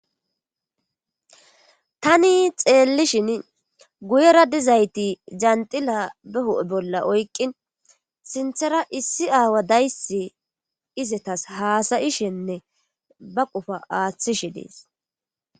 Tani xeellishin guyera dizayti janxila be hudhe bolla oykqin sinthera issi aawa dayssi izetas haasayishenne ba qofa aaththishe dees.